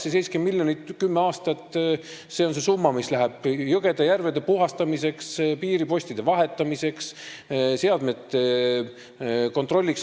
See 70 miljonit 10 aasta peale on summa, mis läheb jõgede-järvede puhastamiseks, piiripostide vahetamiseks, seadmete kontrolliks.